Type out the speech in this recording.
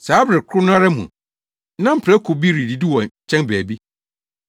Saa bere koro no ara mu, na mprakokuw bi redidi wɔ nkyɛn baabi.